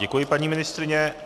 Děkuji, paní ministryně.